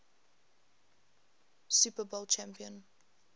super bowl champion